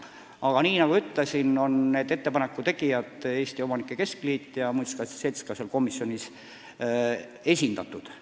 Aga nagu ma ütlesin, ettepanekute tegijad – Eesti Omanike Keskliit ja Eesti Muinsuskaitse Selts – on ka seal komisjonis esindatud.